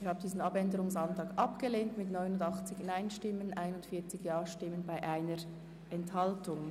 Sie haben den Abänderungsantrag der SVP abgelehnt mit 41 Ja- zu 89 Nein-Stimmen bei 1 Enthaltung.